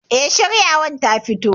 Eh, shiyawar ta fito